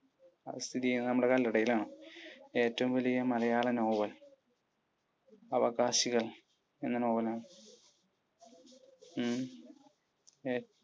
അത് സ്ഥിതി ചെയ്യുന്നത് നമ്മുടെ കല്ലടയിൽ ആണ്. ഏറ്റവും വലിയ മലയാള നോവൽ? അവകാശികൾ എന്ന നോവൽ ആണ്.